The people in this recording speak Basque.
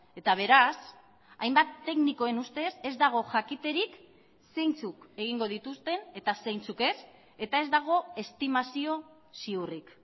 eta beraz hainbat teknikoen ustez ez dago jakiterik zeintzuk egingo dituzten eta zeintzuk ez eta ez dago estimazio ziurrik